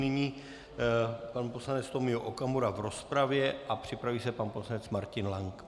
Nyní pan poslanec Tomio Okamura v rozpravě a připraví se pan poslanec Martin Lang.